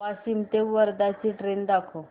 वाशिम ते वर्धा ची ट्रेन दाखव